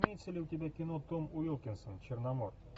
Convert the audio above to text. имеется ли у тебя кино том уилкинсон черномор